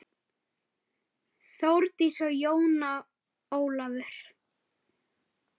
Þórdís og Jón Ólafur.